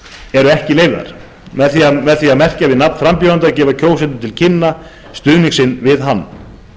eru ekki leyfðar með því að merkja við nafn frambjóðanda gefa kjósendur til kynna stuðning sinn við hann